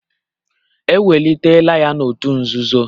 Ewelitela ya n'òtù nzuzo